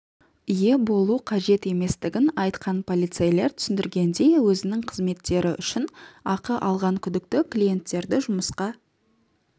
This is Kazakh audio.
ие болу қажет еместігін айтқан полицейлер түсіндіргендей өзінің қызметтері үшін ақы алған күдікті клиенттерді жұмысқа